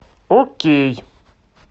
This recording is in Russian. окей